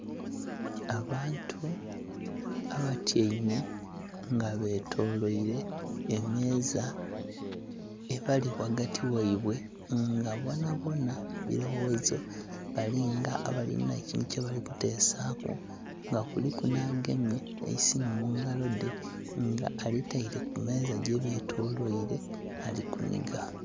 Abantu abatyaime nga betolwaire emeeza ebali wagati waibwe nga bonabona birowozo, balinga abalina ekintu kyebali kutesaku nga kuliku n'agemye eisimu mungalo dhe nga alitaire kumeeza gyebetolwaire alikuniga.